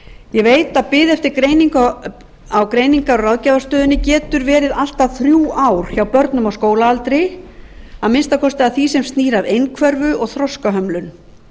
ég veit að bið eftir greiningu á greiningar og ráðgjafarstöðinni getur verið allt að þrjú ár hjá börnum á skólaaldri að minnsta kosti því sem snýr að einhverfu og þroskahömlun